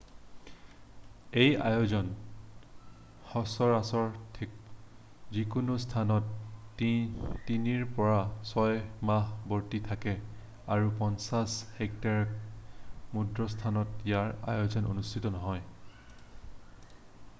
এই আয়োজন সচৰাচৰ যিকোনো স্থানত তিনিৰ পৰা ছয়মাহ বৰ্তি থাকে আৰু 50 হেক্টৰতকৈ ক্ষুদ্ৰ স্থানত ইয়াৰ আয়োজন অনুষ্ঠিত নহয়